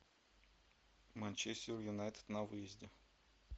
манчестер юнайтед на выезде